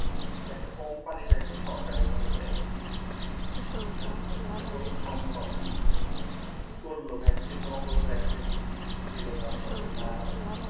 যে একটা company একটা সরকারি ভাবে দেয় এটা কোন দিন সম্ভব কি করলো vaccine নকল vaccine দিলো তারপরে mask